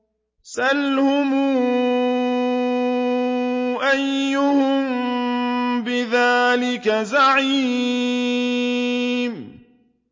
سَلْهُمْ أَيُّهُم بِذَٰلِكَ زَعِيمٌ